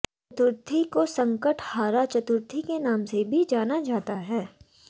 चतुर्थी को संकट हारा चतुर्थी के भी नाम से जाना जाता है